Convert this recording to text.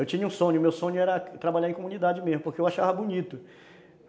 Eu tinha um sonho, o meu sonho era trabalhar em comunidade mesmo, porque eu achava bonito.